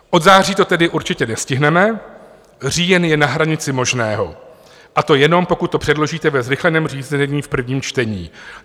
Od září to tedy určitě nestihneme, říjen je na hranici možného, a to jenom pokud to předložíte ve zrychleném řízení v prvním čtení.